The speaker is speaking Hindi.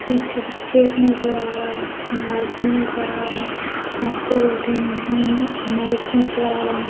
पीछे जो खेत नजर आ रहा है। आदमी नजर आ रहे हैं। औरतें बैठी हुई है मो नजर आ रहे हैं।